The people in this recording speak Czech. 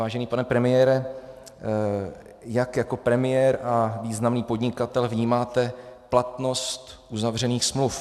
Vážený pane premiére, jak jako premiér a významný podnikatel vnímáte platnost uzavřených smluv?